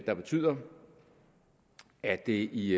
der betyder at det i